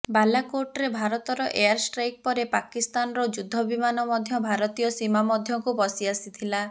ବାଲାକୋଟରେ ଭାରତର ଏୟାରଷ୍ଟ୍ରାଇକ ପରେ ପାକିସ୍ତାନର ଯୁଦ୍ଧ ବିମାନ ମଧ୍ୟ ଭାରତୀୟ ସୀମା ମଧ୍ୟକୁ ପଶି ଆସିଥିଲା